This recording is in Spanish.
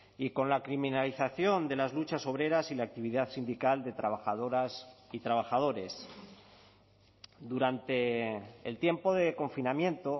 y con la criminalización de las luchas obreras y la actividad sindical de trabajadoras y trabajadores durante el tiempo de confinamiento